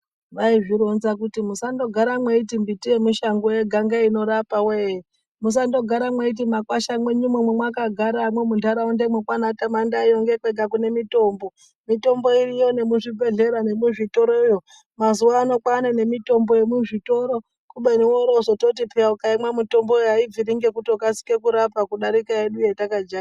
Vaizvironza kuti musandogara mweiti mimbiti yemushango yega ngeinorapa wee. Musandogara mweiti mumakwasha mwenyumwo mwamwakagaramwo muntaraunda mwenyumwo kwaanaTamandayi yo ndokwega kune mitombo, mitombo iriyo nemuzvibhedhleramwo nemuzvitoroyo. Mazuwa ano kwaane nemitombo yemuzvitoro kubeni worowozoti ukayimwa mitomboyo aibviri ngekutokasika kurapa kudarike yedu yatakajaira.